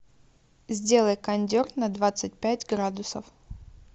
сделай кондер на двадцать пять градусов